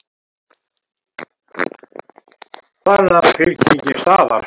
Þar nam fylkingin staðar.